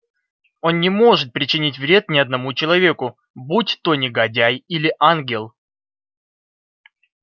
он не может причинить вред ни одному человеку будь то негодяй или ангел